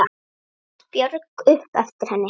át Björg upp eftir henni.